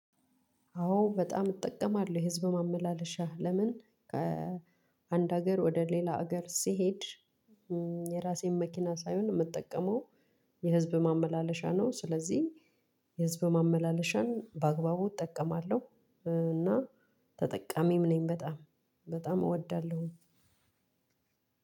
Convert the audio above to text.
አዎ በጣም እጠቀማለሁ የህዝብ ማመላለሻ ለምን? ከአንድ ሀገር ወደ ሌላ ሀገር ስሄድ የራሴን መኪና ሳይሆን የምጠቀመው የህዝብ ማመላለሻ ነው። ስለዚህ የህዝብ ማመላለሻን በአግባቡ እጠቀማለሁ እና ተጠቃሚም ነኝ። በጣም በጣም እወዳለሁኝ።